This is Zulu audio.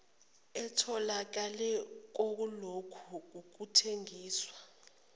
etholakele kulokho kuthengiswa